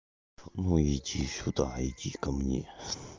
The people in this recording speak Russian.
ну иди сюда иди ко мне